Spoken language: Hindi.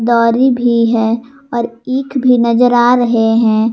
दौरी भी है और ईख भी नजर आ रहे है।